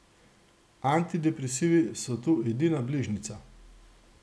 Antidepresivi so tu edina bližnjica.